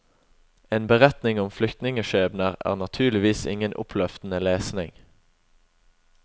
En beretning om flyktningeskjebner er naturligvis ingen oppløftende lesning.